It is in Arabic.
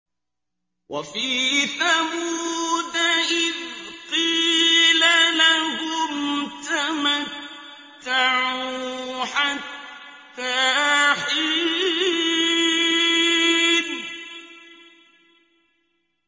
وَفِي ثَمُودَ إِذْ قِيلَ لَهُمْ تَمَتَّعُوا حَتَّىٰ حِينٍ